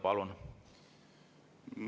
Palun!